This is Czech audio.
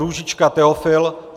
Růžička Teofil